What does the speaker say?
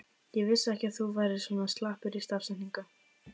Ég vissi ekki að þú værir svona slappur í stafsetningu!